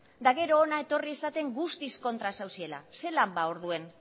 eta gero hona etorri esaten guztiz kontra zaudetela zelan ba orduen